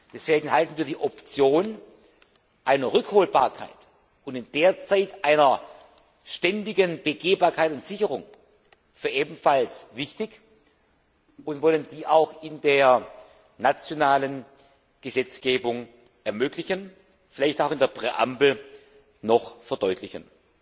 Deswegen halten wir die Option der Rückholbarkeit und in der Zwischenzeit einer ständigen Begehbarkeit und Sicherung für ebenfalls wichtig und wollen dies auch in der nationalen Gesetzgebung ermöglichen, vielleicht auch in der Präambel noch verdeutlichen.